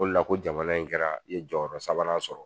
O la ko jamana in kɛra i ye jɔyɔrɔ sabanan sɔrɔ